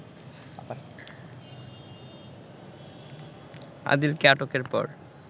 আদিলকে আটকের পর